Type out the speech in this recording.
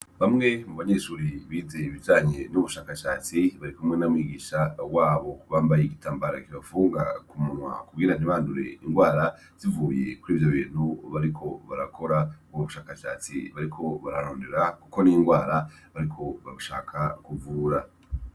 Bamwe mubanyeshure bize ibijanye n'ubushakashatsi barikumwe na mwigisha wabo bambaye igitambara kibapfunga kumunwa kugira ntibandure ingwara zivuye kurivyo bintu bariko barakora. Ubwo bushakashatsi bariko bararondera kuko ni ingwara bariko bashaka kuvura.